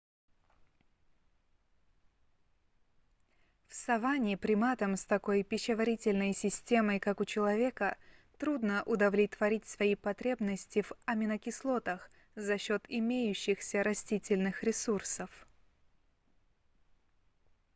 в саванне приматам с такой пищеварительной системой как у человека трудно удовлетворить свои потребности в аминокислотах за счёт имеющихся растительных ресурсов